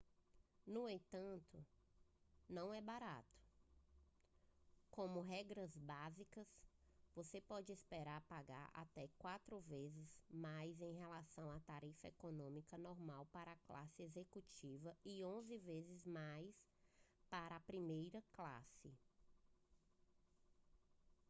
no entanto não é barato como regras básicas você pode esperar pagar até quatro vezes mais em relação à tarifa econômica normal para a classe executiva e onze vezes mais para a primeira classe